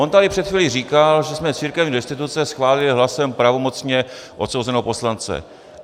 On tady před chvílí říkal, že jsme církevní restituce schválili hlasem pravomocně odsouzeného poslance.